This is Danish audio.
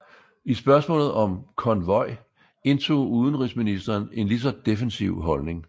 I spørgsmålet om konvoj indtog udenrigsministeren en lige så defensiv holdning